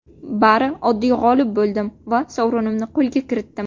Bari oddiy g‘olib bo‘ldim va sovrinimni qo‘lga kiritdim.